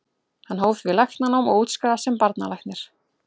Hann hóf því læknanám og útskrifaðist sem barnalæknir.